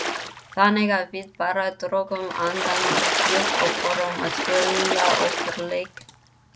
Þannig að við bara drógum andann djúpt og fórum að spila okkar leik.